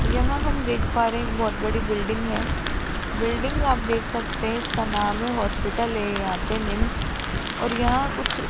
यहां हम देख पा रहे हैं एक बहोत बड़ी बिल्डिंग है बिल्डिंग आप देख सकते हैं इसका नाम है हॉस्पिटल ये यहां पे निम्स और यहां कुछ --